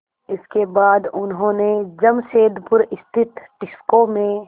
इसके बाद उन्होंने जमशेदपुर स्थित टिस्को में